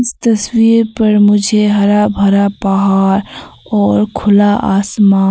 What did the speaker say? तस्वीर पर मुझे हरा भरा पहाड़ और खुला आसमान--